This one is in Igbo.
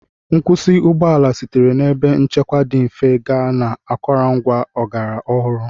Nkwụsị ụgbọ ala sitere na ebe nchekwa dị mfe gaa na akụrụngwa ọgbara ọhụrụ.